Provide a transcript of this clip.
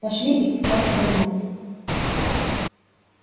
пошли их к чертовой матери